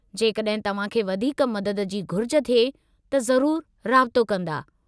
जेकॾहिं तव्हां खे वधीक मदद जी घुरिज थिए, त ज़रूरु राबितो कंदा।